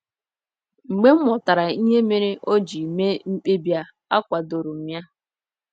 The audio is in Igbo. Mgbe m ghọtara ihe mere o ji mee mkpebi a, akwadoro m ya.